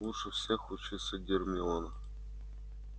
лучше всех учится гермиона